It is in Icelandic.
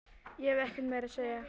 Ég hef ekkert meira að segja.